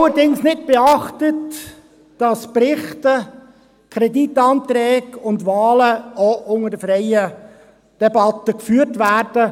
Allerdings haben wir nicht beachtet, dass Berichte, Kreditanträge und Wahlen ebenfalls in Form einer freien Debatte beraten werden.